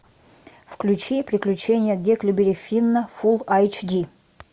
включи приключения гекльберри финна фул айч ди